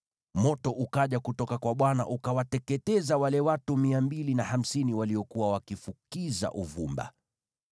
Moto ukaja kutoka kwa Bwana , ukawateketeza wale watu 250 waliokuwa wakifukiza uvumba.